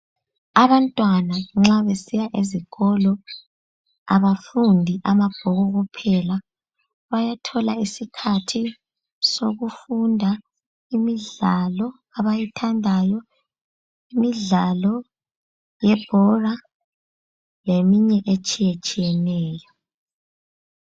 Abantwana nxa besiya esikolo abafundi amabhuku kuphela. Bayathola isikhathi sokufunda imidlalo abayithandayo. Imidlalo yebhola leminye etshiyetshiyeneyo.